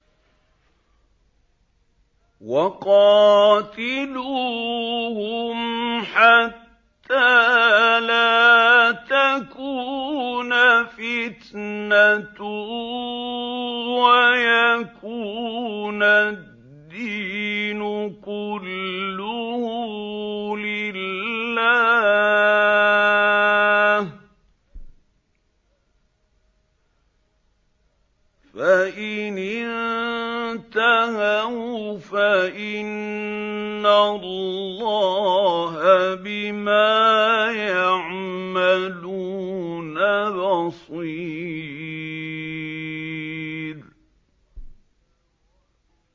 وَقَاتِلُوهُمْ حَتَّىٰ لَا تَكُونَ فِتْنَةٌ وَيَكُونَ الدِّينُ كُلُّهُ لِلَّهِ ۚ فَإِنِ انتَهَوْا فَإِنَّ اللَّهَ بِمَا يَعْمَلُونَ بَصِيرٌ